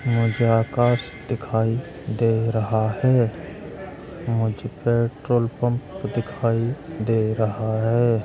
मुझे आकाश दिखाई दे रहा है। मुझे पेट्रोल पंप दिखाई दे रहा है।